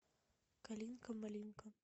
калинка малинка